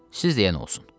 Siz deyən olsun.